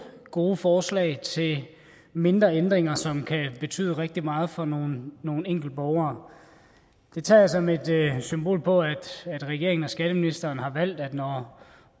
gode forslag til mindre ændringer som kan betyde rigtig meget for nogle enkelte borgere det tager jeg som et symbol på at regeringen og skatteministeren har valgt at når